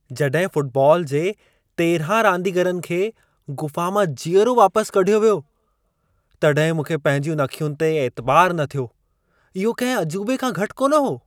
जॾहिं फुटबॉल जे 13 रांदीगरनि खे गुफ़ा मां जीअरो वापसि कढियो वियो, तॾहिं मूंखे पंहिंजियुनि अखियुनि ते ऐतिबारु न थियो। इहो कंहिं अजूबे खां घटि कोन हो।